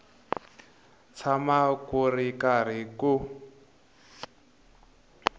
tshama ku ri karhi ku